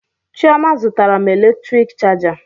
Chioma zụtara m eletrik chaja